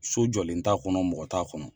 So jɔlen t'a kɔnɔ, mɔgɔ t'a kɔnɔ.